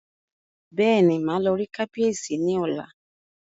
Bẹ́ẹ̀ni, màá lọ rí kábíyèsí ní ọ̀la